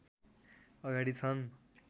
अगाडि छन्